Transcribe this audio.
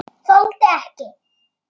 Þoldi ekki.